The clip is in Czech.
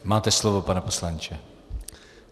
Máte slovo, pane poslanče.